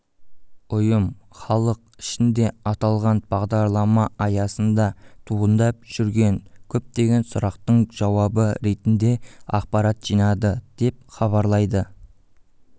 ұйым халық ішінде аталған бағдарламааясында туындап жүрген көптеген сұрақтың жауабы ретінде ақпарат жинады деп хабарлайды